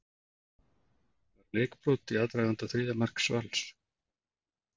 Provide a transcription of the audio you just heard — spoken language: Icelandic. Var leikbrot í aðdraganda þriðja marks Vals?